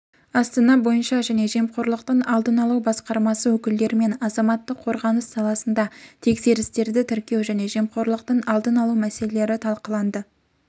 астана бойынша және жемқорлықтың алдын алу басқармасы өкілдерімен азаматтық қорғаныс саласында тексерістерді тіркеу және жемқорлықтың алдын алу мәселелері талқыланды